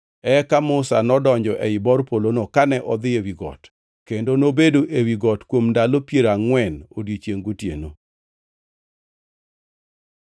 Eka Musa nodonjo ei bor polono kane odhi ewi got, kendo nobedo ewi got kuom ndalo piero angʼwen odiechiengʼ gotieno.